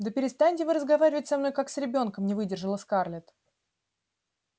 да перестаньте вы разговаривать со мной как с ребёнком не выдержала скарлетт